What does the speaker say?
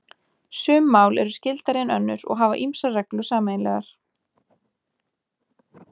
Sum mál eru skyldari en önnur og hafa ýmsar reglur sameiginlegar.